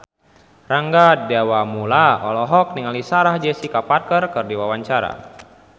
Rangga Dewamoela olohok ningali Sarah Jessica Parker keur diwawancara